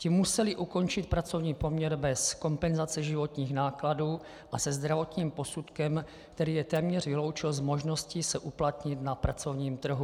Ti museli ukončit pracovní poměr bez kompenzace životních nákladů a se zdravotním posudkem, který je téměř vyloučil z možnosti se uplatnit na pracovním trhu.